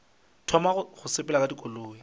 thoma go sepela ka dikoloi